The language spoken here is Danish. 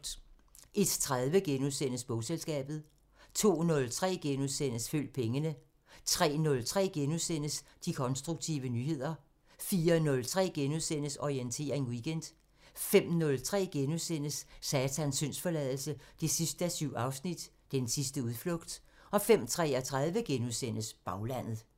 01:30: Bogselskabet * 02:03: Følg pengene * 03:03: De konstruktive nyheder * 04:03: Orientering Weekend * 05:03: Satans syndsforladelse 7:7 – Den sidste udflugt * 05:33: Baglandet *